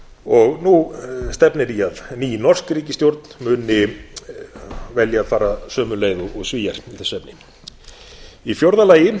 og nú stefnir í að ný norsk ríkisstjórn muni velja bara sömu leið og svíar í þessu efni í fjórða lagi